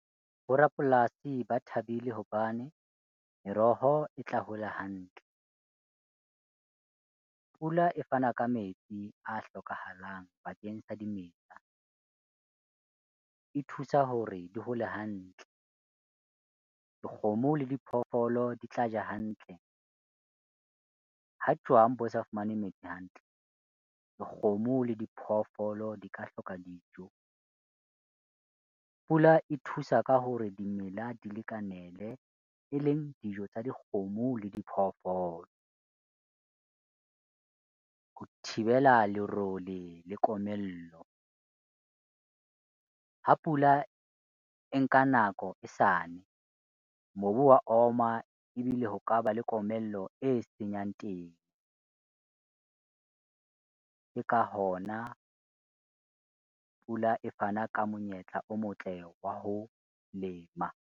Bo rapolasi ba thabile hobane meroho e tla hola hantle. Pula e fana ka metsi a hlokahalang bakeng sa dimela, e thusa hore di hole hantle. Dikgomo le diphoofolo di tla ja hantle. Ha jwang bo sa fumane metsi hantle, dikgomo le diphoofolo di ka hloka dijo. Pula e thusa ka hore dimela di lekanele eleng dijo tsa dikgomo le diphoofolo ho thibela lerole le komello. Ha pula e nka nako e sa ne, mobu wa oma ebile ho kaba le komello e senyang temo. Ke ka hona pula e fana ka monyetla o motle wa ho lema.